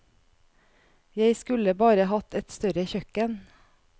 Jeg skulle bare hatt et større kjøkken.